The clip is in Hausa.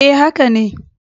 E, haka ne.